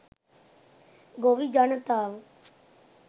ගොවි ජනතාව